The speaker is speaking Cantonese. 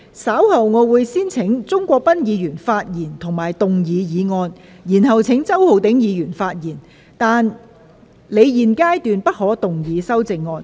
稍後我會先請鍾國斌議員發言及動議議案，然後請周浩鼎議員發言，但他在現階段不可動議修正案。